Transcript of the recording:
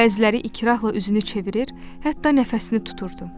Bəziləri ikrahla üzünü çevirir, hətta nəfəsini tuturdu.